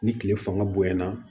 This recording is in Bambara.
Ni tile fanga bonyana